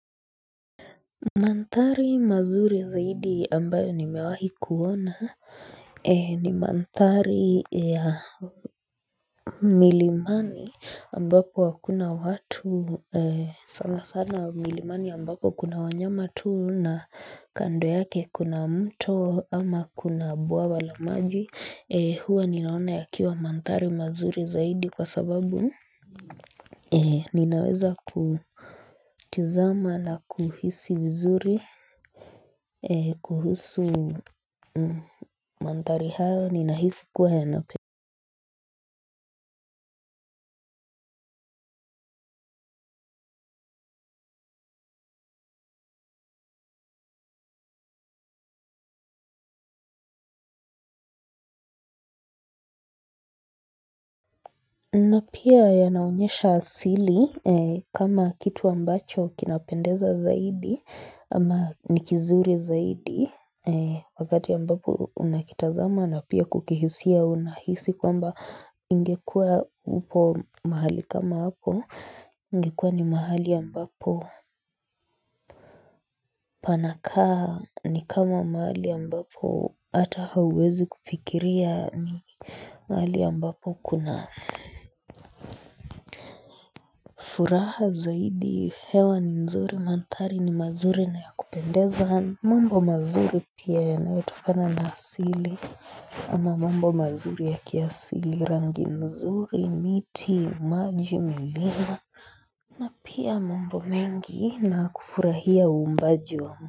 Manthari mazuri zaidi ambayo nimewahi kuona. Ni manthari ya milimani ambapo hakuna watu sana sana wa milimani ambapo kuna wanyama tuu na kando yake kuna mto ama kuna bwawa la maji. Huwa ninaona ya kiwa manthari mazuri zaidi kwa sababu ninaweza kutizama na kuhisi vizuri kuhusu manthari hayo ninahisi kuwa yanapende napia yanaonyesha asili kama kitu ambacho kinapendeza zaidi ama nikizuri zaidi wakati ambapo unakitazama na pia kukihisia unahisi kwamba ingekua upo mahali kama hapo ingekua ni mahali ambapo panakaa ni kama mahali ambapo ata hauwezi kufikiria ni mahali ambapo kuna furaha zaidi hewa ni nzuri manthari ni mazuri na ya kupendeza. Mambo mazuri pia ya naotokana na asili. Ama mambo mazuri ya kiasili rangi nzuri, miti, maji, milima. Na pia mambo mengi na kufurahia uumbaji wa.